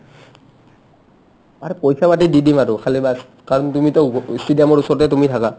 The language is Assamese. aare পইচা বাদে দি দিম আৰু খালী baas কাৰণ তুমিটো stadium ৰ ওচৰতে তুমি থাকা